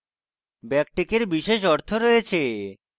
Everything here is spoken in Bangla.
ব্যাকটিকের বিশেষ অর্থ রয়েছে